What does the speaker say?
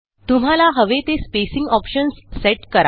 तुम्हाला हवे ते स्पेसिंग optionsसेट करा